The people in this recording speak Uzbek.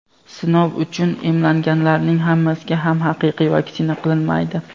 sinov uchun emlanganlarning hammasiga ham haqiqiy vaksina qilinmaydi.